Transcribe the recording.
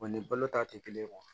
ni balo ta tɛ kelen ye